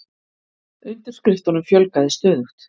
Undirskriftunum fjölgaði stöðugt